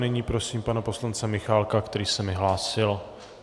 Nyní prosím pana poslance Michálka, který se mi hlásil.